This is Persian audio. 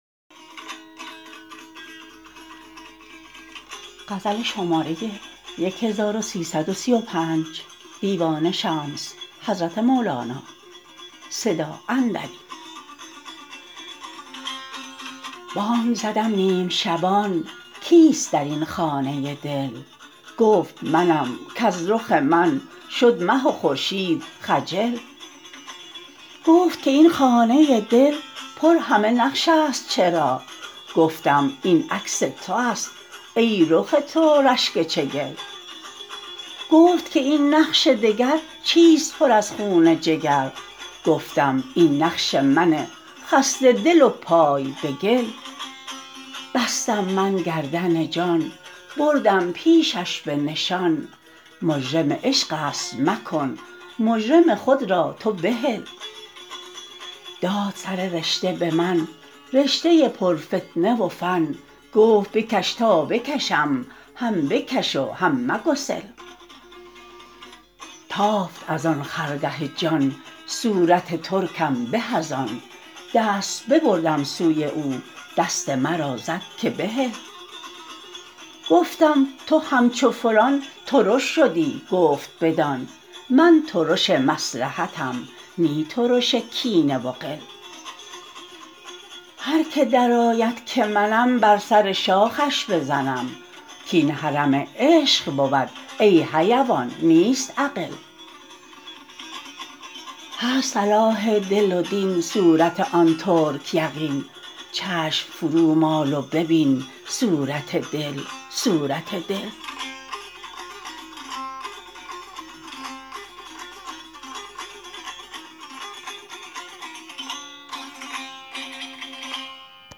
بانگ زدم نیم شبان کیست در این خانه دل گفت منم کز رخ من شد مه و خورشید خجل گفت که این خانه دل پر همه نقشست چرا گفتم این عکس تو است ای رخ تو رشک چگل گفت که این نقش دگر چیست پر از خون جگر گفتم این نقش من خسته دل و پای به گل بستم من گردن جان بردم پیشش به نشان مجرم عشق است مکن مجرم خود را تو بحل داد سر رشته به من رشته پرفتنه و فن گفت بکش تا بکشم هم بکش و هم مگسل تافت از آن خرگه جان صورت ترکم به از آن دست ببردم سوی او دست مرا زد که بهل گفتم تو همچو فلان ترش شدی گفت بدان من ترش مصلحتم نی ترش کینه و غل هر کی درآید که منم بر سر شاخش بزنم کاین حرم عشق بود ای حیوان نیست اغل هست صلاح دل و دین صورت آن ترک یقین چشم فرومال و ببین صورت دل صورت دل